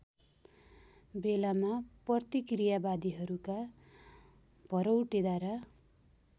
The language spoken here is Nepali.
बेलामा प्रतिक्रियावादीहरूका भरौटेद्वारा